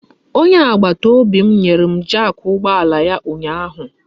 Onye agbataobi m nyere m jak ụgbọala ya ụnyaahụ.